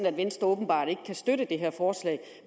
at venstre åbenbart ikke kan støtte det her forslag